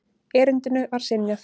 Erindinu var synjað.